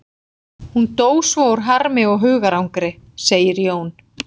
Hún dó svo úr harmi og hugarangri, segir Jón.